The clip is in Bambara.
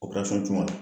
tunna